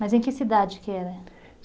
Mas em que cidade que era?